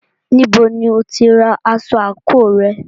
Níbo ni o tí ra aṣọ àńkò rẹ?